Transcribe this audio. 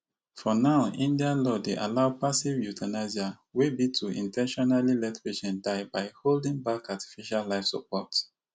for now india law dey allow passive euthanasia wey be to in ten tionally let patient to die by holding back artificial life support